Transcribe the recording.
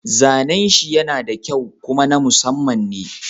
Zanen shi yana da kyau kuma na Musamman ne.